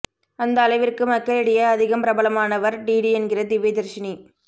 அந்த அளவிற்கு மக்களிடையே அதிகம் பிரபலமானவர் டிடி என்கிற திவ்யதர்ஷினி